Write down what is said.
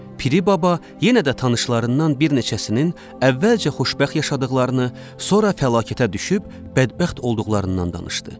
Piri baba yenə də tanışlarından bir neçəsinin əvvəlcə xoşbəxt yaşadıqlarını, sonra fəlakətə düşüb bədbəxt olduqlarından danışdı.